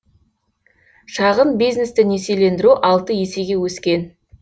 шағын бизнесті несиелендіру алты есеге өскен